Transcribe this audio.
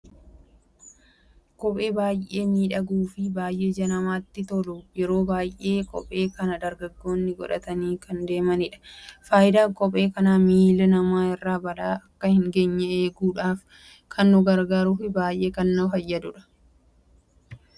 Kophee baay'ee miidhagu fi baay'ee ija namattille tolu yeroo baay'ee kophee kana dargaggoonni godhatani kan deemanidha. Faayidaan kophee kanas miilla nama irra balaan akka hin geenye eeguudhaf kan nu gargaaru fi baay'ee kan fayyadudha.